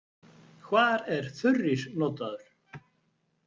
Hvar er þurrís notaður?